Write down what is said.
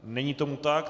Není tomu tak.